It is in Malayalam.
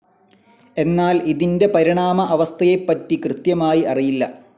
എന്നാൽ ഇതിൻ്റെ പരിണാമ അവസ്ഥയെപ്പറ്റി കൃത്യമായി അറിയില്ല.